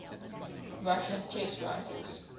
russian chess writers